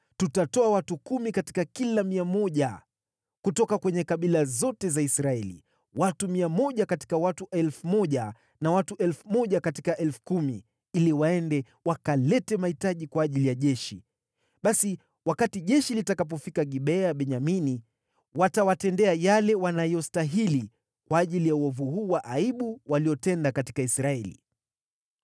Tutatoa watu kumi katika kila 100 kutoka kwenye kabila zote za Israeli, watu 100 katika watu 1,000 na watu 1,000 katika 10,000, ili waende wakalete mahitaji kwa ajili ya jeshi. Basi wakati jeshi litakapofika Gibea ya Benyamini, watawatendea yale wanayostahili, kwa ajili ya uovu huu wa aibu waliotenda katika Israeli.”